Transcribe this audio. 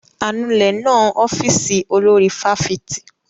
Anulẹ̀ náà ń ọ́fíìsì olórí fáfitì.